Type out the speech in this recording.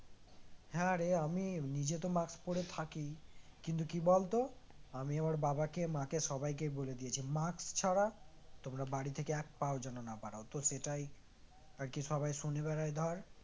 হ্যাঁ রে আমি নিজে তো mask পরে থাকি কিন্তু কি বলতো আমি আমার বাবাকে মাকে সবাইকে বলে দিয়েছি mask ছাড়া তোমরা বাড়ি থেকে এক পাও যেন না বাড়াও তো সেটাই আরকি সবাই